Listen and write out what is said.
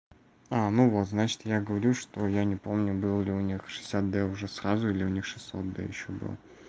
а ну вот значит я говорю что я не помню был ли у них шестьдесят д уже сразу или у них шестьсот д ещё было